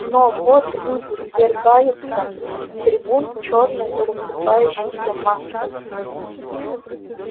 но вот люди свергаются с трибун чёрной рассыпающейся массой